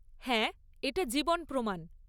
হ্যাঁ, এটা জীবন প্রমাণ।